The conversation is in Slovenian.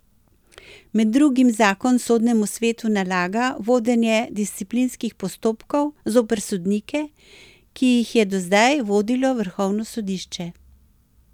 Med drugim zakon sodnemu svetu nalaga vodenje disciplinskih postopkov zoper sodnike, ki jih je do zdaj vodilo vrhovno sodišče.